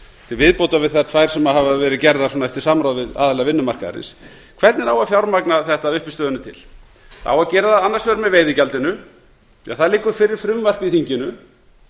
til viðbótar við þær tvær sem hafa verið gerðar eftir samráð við aðila vinnumarkaðarins hvernig á að fjármagna þetta að uppistöðunni til það á að gera það annars vegar með veiðigjaldinu það liggur fyrir frumvarp í þinginu